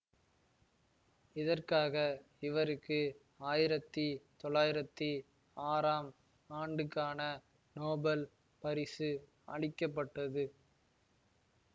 இதற்காக இவருக்கு ஆயிரத்தி தொளாயிரத்தி ஆறாம் ஆண்டுக்கான நோபல் பரிசு அளிக்க பட்டது